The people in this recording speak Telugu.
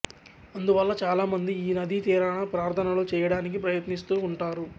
అందువల్ల చాలామంది ఈ నదీ తీరాన ప్రార్థనలు చేయటానికి ప్రయత్నిస్తూ ఉం టారు